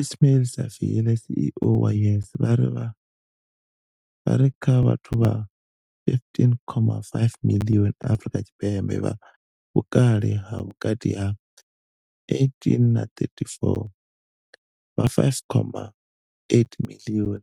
Ismail-Saville CEO wa YES, vha ri kha vhathu vha 15.5 miḽioni Afrika Tshipembe vha vhukale ha vhukati ha 18 na 34, vha 5.8 miḽioni